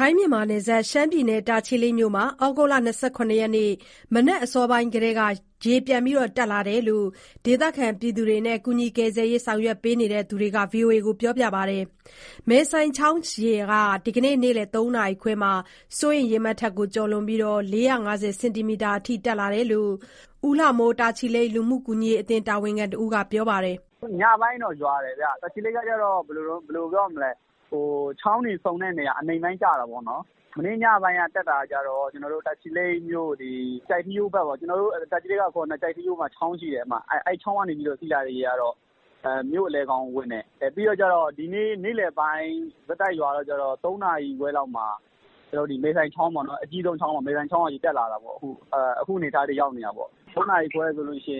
ိုင်း-မြန်မာနယ်စပ် တာချီလိတ်မြို့မှာ ဩဂုတ်လ ၂၇ ရက်၊ မနက်အစောပိုင်းကတည်းက ရေပြန်တက်လာတာလို့ ဒေသခံတွေနဲ့ ကယ်ဆယ်ရေး ဆောင်ရွက်နေသူတွေက ပြောပါတယ်။ မယ်ဆိုင်ချောင်းရေဟာ ဒီကနေ့ နေ့လည် ၃နာရီခွဲမှာ စိုးရိမ်ရေမှတ်ထက် ကျော်လွန်ပြီး၊ ၄၅၀ စင်တီမီတာအထိ ရောက်ရှိလာတယ်လို့ ဦးလှမိုး တာချီလိတ်လူမှုကူညီရေး အသင်းတာဝန်ခံတဦးက ပြောပါတယ်။ "ညပိုင်းတော့ မိုးရွာတယ်ဗျ။ တာချီလိတ်က ချောင်းတွေဆုံတဲ့နေရာ အနိမ့်ပိုင်းကျတာပေါ့နော်။ မနေ့ညပိုင်းက တက်တာကြတော့ တာချီလိတ်မြို့ ကျိုက်ထီးရိုးဘက်ပေါ့။ ကျနော်တို့ဘက်ကအခေါ် တာချီလိတ်မှာ ကျိုက်ထီးရိုးချောင်းရှိတယ်။ အဲဒီချောင်းကနေ စီးလာတဲ့ရေကတော့ မြို့အလယ်ခေါင်ကိုဝင်တယ်။ ပြီးတော့ ဒီနေ့နေ့လည်ပိုင်း ဆက်တိုက်ရွာတာကြတော့ ၃နာရီခွဲလောက်မှာ မယ်ဆိုင်ချောင်းပေါ့နော်၊ အဲဒီကနေ ရေတက်လာတာပေါ့။ အခုအနေအထားထိ ရောက်နေတာပေါ့။ ၃နာရီခွဲဆိုရင် ၄၅၀ စင်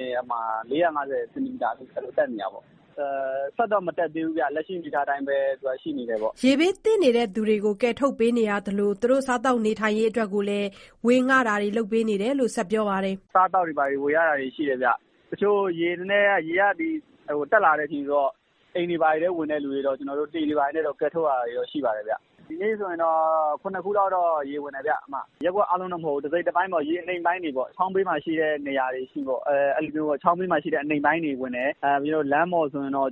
တီမီတာထိ တက်နေတာပေါ့။ ရေကတော့ ဆက်မတက်သေးဘူး။ လက်ရှိအနေအထားအတိုင်းပဲ ရှိနေတာပေါ့။" ရေဘေးသင့်သူတွေကို ကယ်ထုတ်ပေးနေသလို၊ စားသောက်ရေးအတွက် ဝေငှတာတွေလည်း လုပ်ပေးနေတယ်လို့ ဆက်ပြောပါတယ်။ "အစားအသောက်တွေ ဝေရတာရှိတယ်ဗျ။ ရေကတက်လာတဲ့ အချိန်ဆိုတော့ အိမ်တွေထဲထိ ဝင်တဲ့သူတွေကိုတော့ လှေတွေနဲ့ ကယ်ထုတ်ရတာတော့ ရှိပါတယ်ဗျ။ ဒီနေ့ဆိုရင် ရပ်ကွက် ၇ ခုလောက်တော့ ရေဝင်တယ်ဗျ။ ရပ်ကွက်တခုလုံး အကုန်လုံးတော့မဟုတ်ဘူး၊ တစိတ်တပိုင်းပေါ့။ ချောင်းဘေးမှာရှိတဲ့ အနိမ့်ပိုင်းတွေဝင်တယ်။ လမ်းပေါ်ဆိုရင်တော့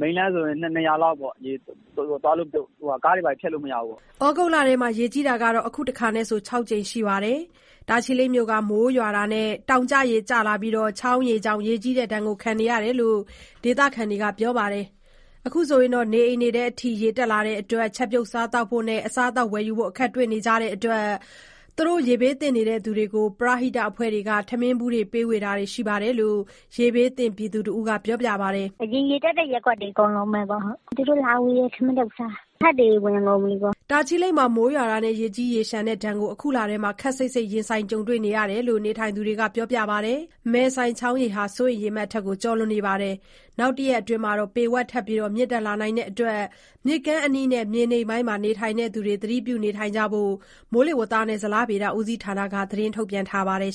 မိန်းလမ်းဆိုရင် ၂နေရာလောက်ပေါ့၊ ကားတွေဘာတွေ ဖြတ်လို့မရဘူး။" ဩဂုတ်လထဲမှာ ရေကြီးတာ အခုတခါနဲ့ဆို ၆ကြိမ်ရှိလာပြီး၊ တာချီလိတ်မြို့ဟာ မိုးရွာတာနဲ့ တောင်ကျရေနဲ့ ချောင်းရေကြောင့် ရေကြီးတဲ့ဒဏ်ကို ခံနေရတယ်လို့ ဒေသခံတွေက ပြောပါတယ်။ နေအိမ်တွေထဲအထိ ရေဝင်နေလို့ ချက်ပြုတ်စားသောက်ဖို့နဲ့ အစားအသောက်ဝယ်ယူဖို့ အခက်တွေ့နေပြီး၊ ပရဟိတအဖွဲ့တွေက ထမင်းဗူးပေးဝေတာတွေ ရှိတယ်လို့ ရေဘေးသင့်နေသူ တဦးက ပြောပါတယ်။ "အရင်ရေတက်တဲ့ ရပ်ကွက်တွေအကုန်လုံး ရေတက်တာပေါ့။ သူတို့လာဝေတဲ့ ထမင်းထုပ်ပဲ စားရတာ။ အိမ်အောက်ထပ်တွေတော့ ရေဝင်ကုန်ပြီ။" တာချီလိတ်မှာ မိုးရွာတာနဲ့ ရေကြီးရေလျှံတဲ့ဒဏ်ကို အခုလထဲမှာ ခပ်စိပ်စိပ်ကြုံတွေ့နေရတယ်လို့ နေထိုင်သူတွေက ပြောပါတယ်။ မယ်ဆိုင်ချောင်းရေဟာ စိုးရိမ်ရေမှတ်အထက် ကျော်လွန်နေပြီး နောက် ၁ ရက်အတွင်းမှာ ပေဝက်ထပ်ပြီး မြင့်တက်လာနိုင်လို့ မြစ်ကမ်းအနီးနဲ့ မြေနိမ့်ပိုင်း နေထိုင်သူတွေ သတိပြုကြဖို့ကို မိုးဇလက ထုတ်ပြန်ထားပါတယ်